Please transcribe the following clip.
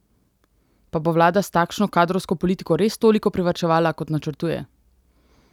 Pa bo vlada s takšno kadrovsko politiko res toliko privarčevala, kot načrtuje?